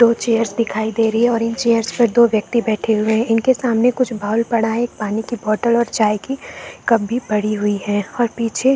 दो चेयर्स दिखाई दे रही है और इन चेयर्स पर दो व्यक्ति बैठे हुए है इनके सामने कुछ वॉल्व पड़ा हुआ है एक पानी की बॉटल और चाय की कप भी पड़ी हुई है और पीछे --